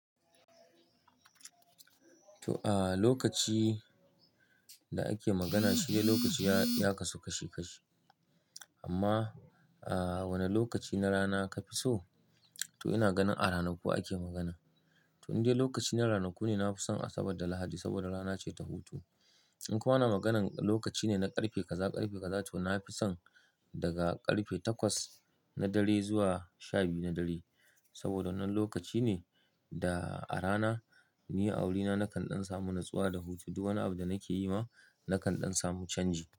To, ah lokaci da ake magana shi dai lokaci ya kasu kashi kashi. Amma ah wane lokaci na rana kafi so? To ina ganin a ranaku ake magana. To indai lokaci na ranaku ne na fi son Asabar da Lahadi saboda rana ce ta hutu. In kuma ana maganar lokaci ne na ƙarfe kaza ƙarfe kaza to na fi son daga ƙarfe takwas na dare zuwa shabiyu na dare. Saboda wannan lokaci ne da a rana ni a wurina nakan dan samu nutsuwa da hutu. Duk wani abu da nake yi ma nakan samun canji.